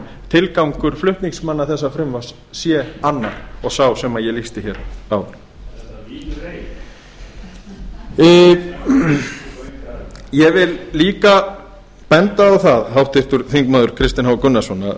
tilgangur flutningsmanna þessa frumvarps sé annar og sá sem ég lýsti áðan er það vín rei ég vil líka benda á það háttvirtur þingmaður kristinn h gunnarsson að